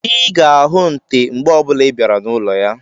Ị ga-ahụ nte mgbe ọbụla ịbịara n'ụlọ ya